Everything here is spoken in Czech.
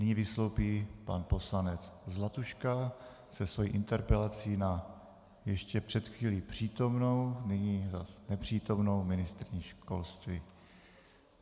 Nyní vystoupí pan poslanec Zlatuška se svou interpelací na ještě před chvílí přítomnou, nyní zase nepřítomnou ministryni školství.